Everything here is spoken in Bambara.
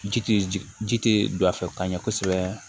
Ji tɛ ji ji tɛ don a fɛ ka ɲɛ kosɛbɛ